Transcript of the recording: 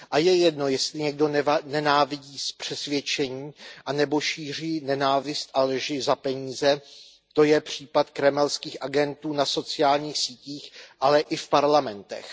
A je jedno, jestli někdo nenávidí z přesvědčení, anebo šíří nenávist a lži za peníze to je případ kremelských agentů na sociálních sítích, ale i v parlamentech.